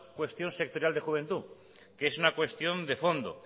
cuestión sectorial de juventud sino que es una cuestión de fondo